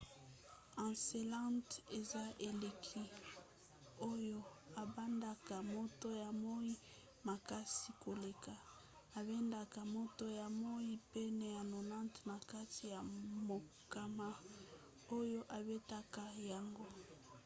encelade eza eleki oyo ebandaka moto ya moi makasi koleka ebendaka moto ya moi pene ya 90 na kati ya mokama oyo ebetaka yango